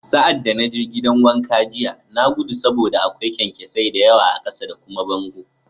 Sa'ad da na je gidan wanka jiya, na gudu saboda akwai kyankyasai da yawa a ƙasa da kuma bango